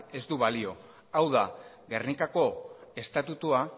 ez du balio hau da gernikako estatutua